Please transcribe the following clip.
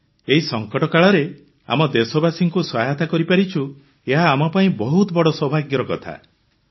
sir ଏହି ସଙ୍କଟ କାଳରେ ଆମ ଦେଶବାସୀଙ୍କୁ ସହାୟତା କରିପାରୁଛୁ ଏହା ଆମ ପାଇଁ ବହୁତ ବଡ଼ ସୌଭାଗ୍ୟର କଥା